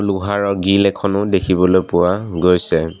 লোহাৰৰ গ্ৰিল এখনো দেখিবলৈ পোৱা গৈছে।